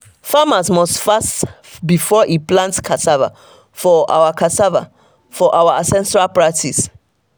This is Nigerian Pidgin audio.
farmer must fast before e plant cassava for our cassava for our ancestral practice.